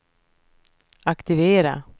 aktivera